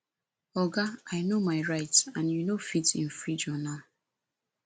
oga i no my rights and you no fit infringe on am